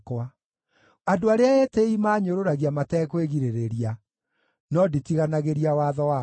Andũ arĩa etĩĩi maanyũrũragia matekwĩgirĩrĩria, no nditiganagĩria watho waku.